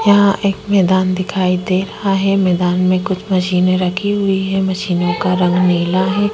यहाँ एक मैदान दिखाई दे रहा है मैदान मे मशीने रखी हुई है मशीन का रंग नीला है।